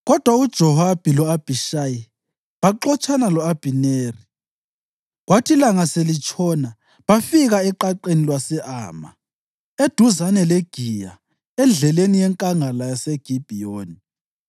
Kodwa uJowabi lo-Abhishayi baxotshana lo-Abhineri, kwathi ilanga selitshona bafika eqaqeni lwase-Ama, eduzane leGiya endleleni yenkangala yaseGibhiyoni.